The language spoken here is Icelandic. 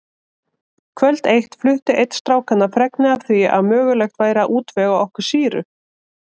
Kvöld eitt flutti einn strákanna fregnir af því að mögulegt væri að útvega okkur sýru.